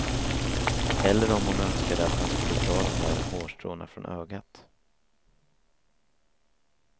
Eller om hon önskade att han skulle dra de där hårstråna från ögat.